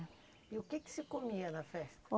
E o que que se comia na festa?